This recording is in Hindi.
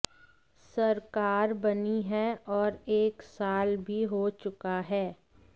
सरकार बनी है और एक साल भी हो चुका है